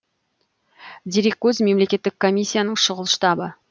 дереккөз мемлекеттік комиссияның шұғыл штабы